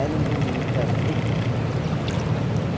Eram bonitas, viu? E